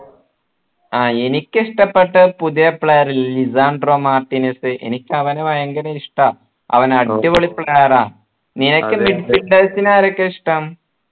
ആഹ് എനിക്കിഷ്ടപ്പെട്ട പുതിയ player Lisandro Martinez എനിക്ക് അവനെ ഭയങ്കര ഇഷ്ടാ അവന് അടിപൊളി player ആ നിനക്കു ആരൊക്കെയാ ഇഷ്ടം